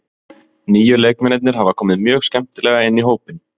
Nýju leikmennirnir hafa komið mjög skemmtilega inn í hópinn.